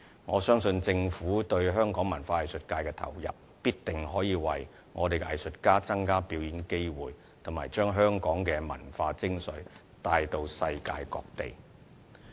我相信政府對香港文化藝術界的投入，必定可以為我們的藝術家增加表演機會，以及將香港的文化精粹帶到世界各地。